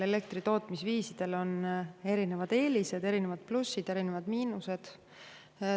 Elektritootmise eri viisidel on erinevad eelised, plussid ja miinused.